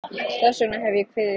Þess vegna hef ég kviðið fyrir.